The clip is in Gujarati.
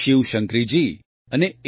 શિવશંકરીજી અને એ